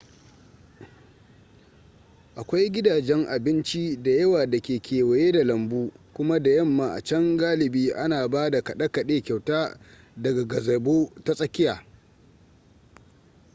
akwai gidajen abinci da yawa da ke kewaye da lambu kuma da yamma a can galibi ana ba da kade kade kyauta daga gazebo ta tsakiya